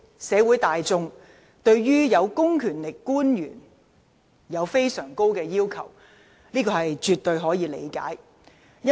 社會大眾對有公權力的官員要求甚高，這絕對可以理解。